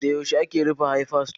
Da yaushe ake rufe Hayfa sito?